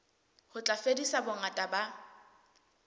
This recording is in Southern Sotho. ho tla fedisa bongata ba